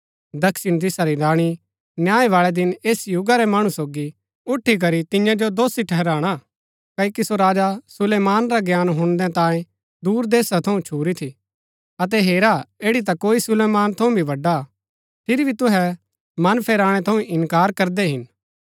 दक्षिण दिशा री राणी न्याय बाळै दिन ऐस युगा रै मणु सोगी उठी करी तियां जो दोषी ठहराणा क्ओकि सो राजा सुलैमान रा ज्ञान हुणनै तांयें दूर देशा थऊँ छुरी थी अतै हेरा ऐड़ी ता कोई सुलैमान थऊँ भी बड़ा हा फिरी भी तुहै मन फेराणै थऊँ इन्कार करदै हिन